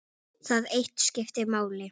Það eitt skipti máli.